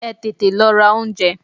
Ẹ tètè lọ ra oúnjẹ!